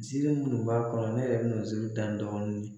Nsiiri munnu b'a kɔnɔ ne yɛrɛ be n'o nsiiri da dɔɔni.